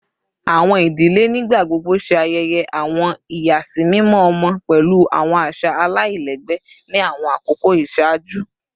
Awọn idile nigbagbogbo ṣe ayẹyẹ awọn iyasimimọ ọmọ pẹlu awọn aṣa alailẹgbẹ ni awọn akoko iṣaaju